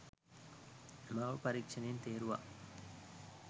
මාව පරීක්‍ෂණයෙන් තේරුවා